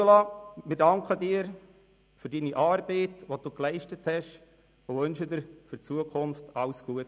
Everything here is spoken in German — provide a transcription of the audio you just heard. Ursula Zybach, wir danken Ihnen für Ihre Arbeit, die Sie geleistet haben, und wünschen Ihnen für die Zukunft alles Gute.